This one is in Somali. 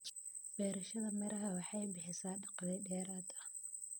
Beerashada miraha waxay bixisaa dakhli dheeraad ah.